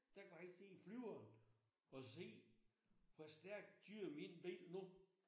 Der kunne han sidde i flyveren og se hvor stærkt kører min bil nu?